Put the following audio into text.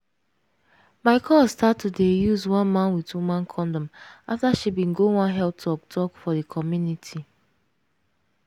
my cuz start to start to dey use man with woman kondom afta bin she go one health talk talk for di community.